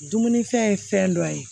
Dumunifɛn ye fɛn dɔ ye